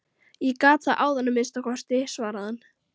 Ég gat það áðan að minnsta kosti, svaraði hann.